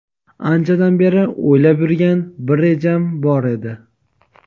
Anchadan beri o‘ylab yurgan bir rejam bor edi.